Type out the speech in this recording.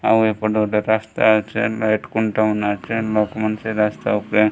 ଆଉ ଏପଟେ ଗୁଟେ ରାସ୍ତା ଅଛେ ଲାଇଟ ଖୁଣ୍ଟ ମନେ ଅଛେ ଲୋକମାନ ସେ ରାସ୍ତା ଉପରେ --